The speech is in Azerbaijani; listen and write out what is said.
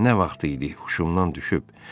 Nə vaxt idi huşumdan düşüb,